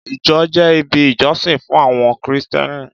Ìjọ jẹ́ ibi ìjọsìn fún àwọn Kristẹni.